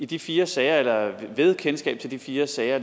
de fire sager eller et kendskab til de fire sager